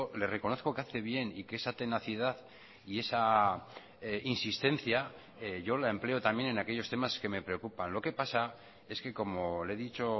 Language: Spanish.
le reconozco que hace bien y que esa tenacidad y esa insistencia yo la empleo también en aquellos temas que me preocupan lo que pasa es que como le he dicho